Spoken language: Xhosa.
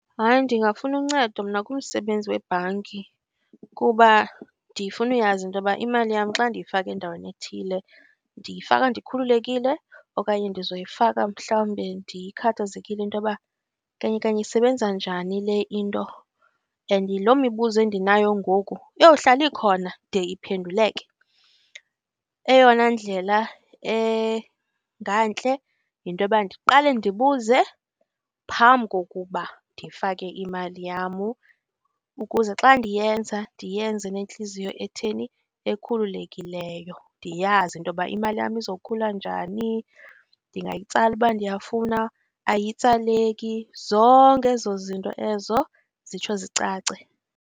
Hayi ndingafuna uncedo mna kumsebenzi webhanki kuba ndifunuyazi into yoba imali yam xa ndiyifaka endaweni ethile ndiyifaka ndikhululekile okanye ndizoyifaka mhlawumbi ndikhathazekile into yoba kanye kanye isebenza njani le into. And yiloo mibuzo endinayo ngoku, iyohlala ikhona de iphenduleke. Eyona ndlela engantle yinto yoba ndiqale ndibuze phambi kokuba ndifake imali yam, ukuze xa ndiyenza, ndiyenze ngentliziyo etheni? Ekhululekileyo, ndiyazi into yoba imali yam izokhula njani, ndingayitsala uba ndiyafuna, ayitsaleki, zonke ezo zinto ezo zitsho zicace.